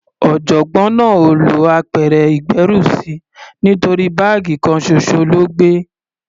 Ọ̀jọ̀gbọ́n náà ò lọ apẹ̀rẹ̀ ìgbérùsí nítorí báàgì kan ṣoṣo ló gbé.